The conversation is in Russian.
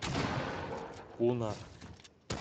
пуна